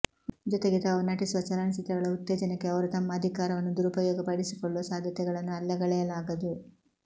ಜೊತೆಗೆ ತಾವು ನಟಿಸುವ ಚಲನಚಿತ್ರಗಳ ಉತ್ತೇಜನಕ್ಕೆ ಅವರು ತಮ್ಮ ಅಧಿಕಾರವನ್ನು ದುರಪಯೋಗಪಡಿಸಿಕೊಳ್ಳುವ ಸಾಧ್ಯತೆಗಳನ್ನು ಅಲ್ಲಗಳೆಯಲಾಗದು